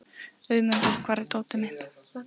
Auðmundur, hvar er dótið mitt?